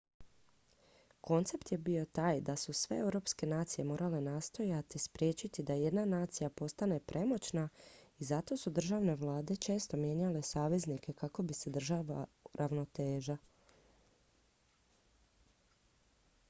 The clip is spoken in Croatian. koncept je bio taj da su sve europske nacije morale nastojati spriječiti da jedna nacija postane premoćna i zato su državne vlade često mijenjale saveznike kako bi se održala ravnoteža